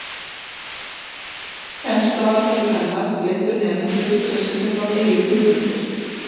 Kennsluaðferðir hennar leiddu nemendur til að setja fram eigin hugmyndir.